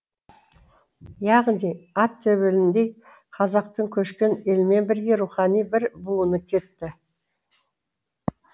яғни ат төбеліндей қазақтың көшкен елмен бірге рухани бір буыны кетті